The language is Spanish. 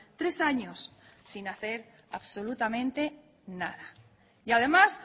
tres años sin hacer absolutamente nada y además